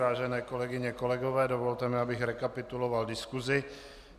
Vážené kolegyně, kolegové, dovolte mi, abych rekapituloval diskusi.